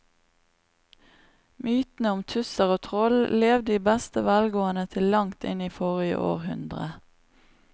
Mytene om tusser og troll levde i beste velgående til langt inn i forrige århundre.